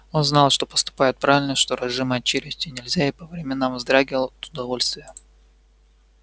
он знал что поступает правильно что разжимать челюсти нельзя и по временам вздрагивал от удовольствия